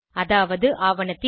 அதாவது ஆவணத்தின்